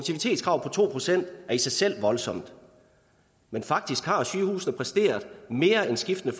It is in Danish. to procent er i sig selv voldsomt men faktisk har sygehusene præsteret mere end skiftende